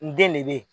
N den ne be yen